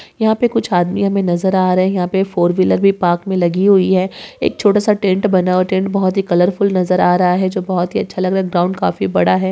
यहा पे कुछ आदमी हमे नज़र आ रहे है यहा पे फोर व्हिलर भी पार्क मे लगी हुई है एक छोटासा टेंट बना हुआ है टेंट बहुत ही कलर फुल नज़र आ रहा है जो बहोत ही अच्छा लगा ग्राउंड काफी बड़ा है।